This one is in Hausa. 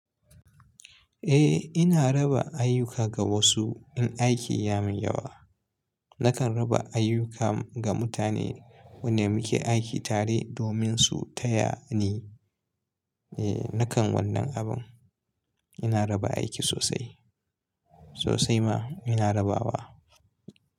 Eh ina raba aiyuka ga wasu in aiki ya mun yawa. Nakan raba ayuka ga mutane wanda muke aiki tare domin su taya ni. Eh nakan wannan abun. Ina raba aiki sosai. Sosai ma ina rabawa.